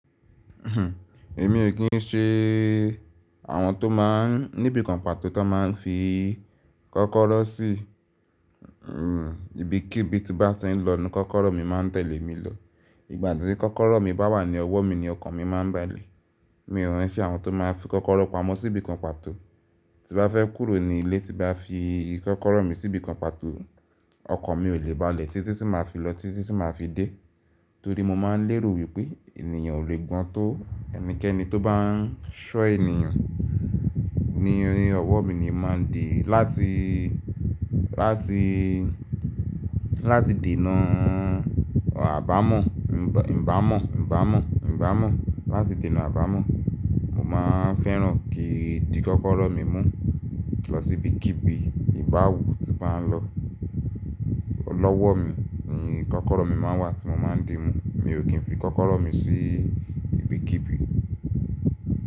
Èmi ò kí ń ṣe àwọn tó máa ń níbi kan pàtó tó máa ń fi kọ́kọ́rọ́ sí ibikíbi tí bá ti ń lọ ni kọ́kọ́rọ́ mi máa ń tẹ̀lé mi lọ. Ìgbà tí kọ́kọ́rọ́ mi bá wà ní ọwọ́ mi ni ọkàn mi máa ń balẹ̀. Mi ò rántí àwọn tó máa ń fi kọ́kọ́rọ́ pamọ́ sí ibi kan pàtó. Tí bá fẹ́ kúrò ní ilé, tí bá fi kọ́kọ́rọ́ mi sí ibi kan pàtó, ọkan mi ò lè balẹ̀ tí tí tí máa fi lọ, tí tí tí máa fi dé. Torí mo máa ń lérò wípé ènìyàn ò lè gbọ́n tó ẹnikẹ́ni tó bá ń ṣọ́ ènìyàn. Ni ọwọ́ mi ni màá dì láti, láti, láti dènà àbámọ̀, nbámọ̀, nbámọ̀, nbámọ̀. Láti dènà àbámọ̀, mo máa ń fẹ́ràn kí n di kọ́kọ́rọ́ mi mu lọ sí ibikíbi. To báwu tí bá ń lọ, lọ́wọ́ mi ni kọ́kọ́rọ́ mi máa ń wà tí mo máa ń dì mú. Mi ò kí ń fi kọ́kọ́rọ́ mi sí ibikíbi.